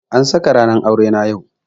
An saka ranar aure na yau.